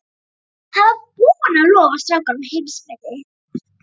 Hann var búinn að lofa strákunum heimsmeti.